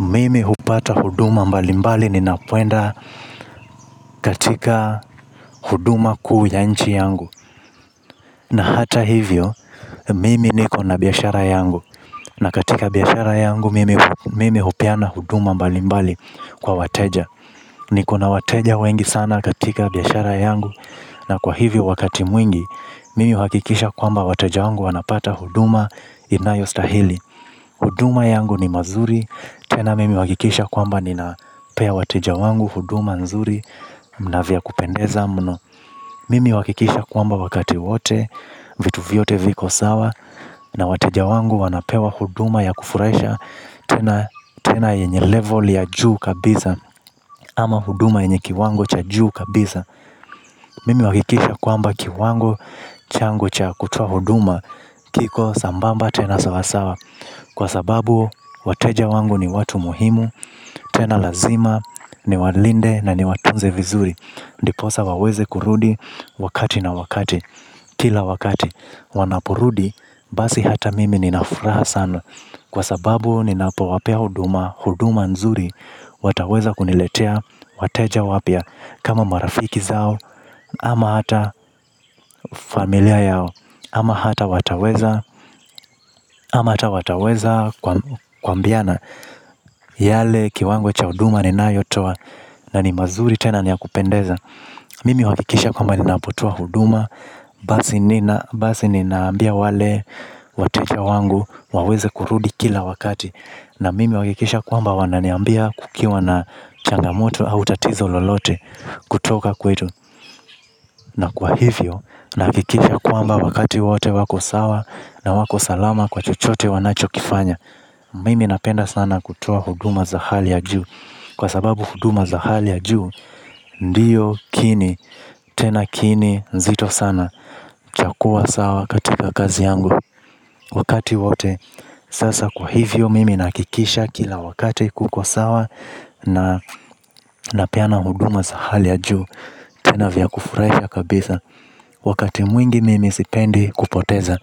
Mimi hupata huduma mbalimbali ninapoenda katika huduma kuu ya nchi yangu. Hata hivyo, mimi nikona biashara yangu. Na katika biashara yangu, mimi hupeana huduma mbalimbali kwa wateja. Nikona wateja wengi sana katika biashara yangu na kwa hivyo wakati mwingi, mimi uhakikisha kwamba wateja wangu wanapata huduma inayostahili. Huduma yangu ni mazuri, tena mimi uhakikisha kwamba ninapea wateja wangu huduma nzuri na vya kupendeza mno. Mimi uhakikisha kwamba wakati wote, vitu vyote viko sawa. Na wateja wangu wanapewa huduma ya kufurahisha tena yenye level ya juu kabisa. Kama huduma yenye kiwango ya juu kabisa. Mimi huakikisha kwamba kiwango changu cha kutoa huduma kiko sambamba tena sawa sawa kwa sababu wateja wangu ni watu muhimu tena lazima, niwalinde na niwatunze vizuri. Ndiposa waweze kurudi wakati na wakati, kila wakati. Wanaporudi, basi hata mimi ninafuraha sana. Kwa sababu, ninapowapea huduma, huduma nzuri. Wataweza kuniletea, wateja wapya kama marafiki zao, ama hata familia yao. Ama hata wataweza, ama hata wataweza kuambiana. Yale kiwango cha huduma ninayotoa na ni mazuri tena niya kupendeza. Mimi uhakikisha kwamba ninapotoa huduma basi ninaambia wale wateja wangu waweze kurudi kila wakati. Na mimi uhakikisha kwamba wananiambia kukiwa na changamoto au tatizo lolote kutoka kwetu. Na kwa hivyo, nakikisha kwamba wakati wote wako sawa na wako salama kwa chochote wanachokifanya. Mimi napenda sana kutoa huduma za hali ya juu. Kwa sababu huduma za hali ya juu ndiyo kiini, tena kiini nzito sana cha kuwa sawa katika kazi yangu wakati wote. Sasa kwa hivyo, mimi nahakikisha kila wakati kukosawa. Na napeana huduma za hali ya juu. Tena vya kufurahisha kabisa. Wakati mwingi mimi sipendi kupoteza.